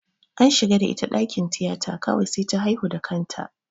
An shiga da ita dakin tiyata kawai sai ta haihu da kanta.